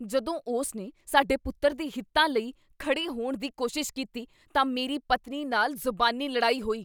ਜਦੋਂ ਉਸਨੇ ਸਾਡੇ ਪੁੱਤਰ ਦੇ ਹਿੱਤਾਂ ਲਈ ਖੜ੍ਹੇ ਹੋਣ ਦੀ ਕੋਸ਼ਿਸ਼ ਕੀਤੀ ਤਾਂ ਮੇਰੀ ਪਤਨੀ ਨਾਲ ਜ਼ੁਬਾਨੀ ਲੜਾਈ ਹੋਈ।